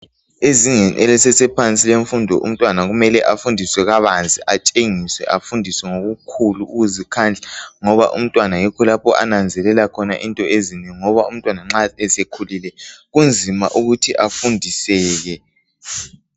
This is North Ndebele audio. Ezingeni elisesephansi lemfundo umntwana kumele afundiswe kabanzi atshengiswe afundiswe ngokukhulu ukuzikhandla ngoba umntwana yikho lapho ananzelela khona into ezinengi . Ngoba umntwana nxa sekhulile kunzima ukuthi afundiseke.